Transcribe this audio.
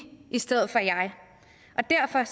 i stedet for jeg og derfor